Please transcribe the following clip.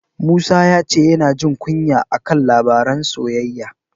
Musa ya ce yana jin kunya a kan labaran soyayya.